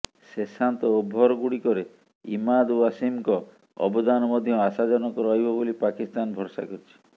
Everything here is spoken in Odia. ଶେଷାନ୍ତ ଓଭର ଗୁଡ଼ିକରେ ଇମାଦ୍ ୱାସିମଙ୍କ ଅବଦାନ ମଧ୍ୟ ଆଶାଜନକ ରହିବ ବୋଲି ପାକିସ୍ତାନ ଭରସା କରିଛି